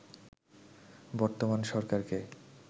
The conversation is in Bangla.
বর্তমান সরকারকে